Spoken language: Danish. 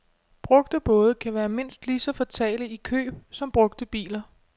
Brugte både kan være mindst lige så fatale i køb som brugte biler.